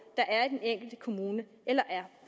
der er i den enkelte kommune eller